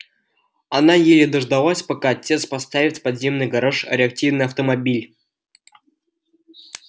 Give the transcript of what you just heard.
она еле дождалась пока отец поставит в подземный гараж реактивный автомобиль